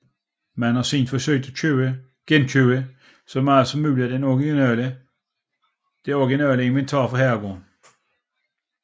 Man har siden forsøgt at genkøbe så meget som muligt af det originale inventar fra herregården